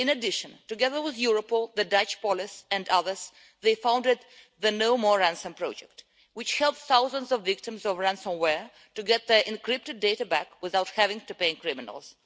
In addition, together with Europol, the Dutch police and others they founded the No More Ransom project, which helped thousands of victims of ransomware to get their encrypted data back without having to pay criminals.